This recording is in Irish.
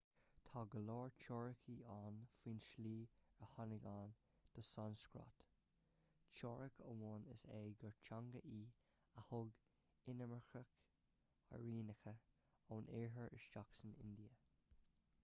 tá go leor teoiricí ann faoin tslí ar tháinig ann don sanscrait teoiric amháin is ea gur teanga í a thug inimircigh airianacha ón iarthar isteach san india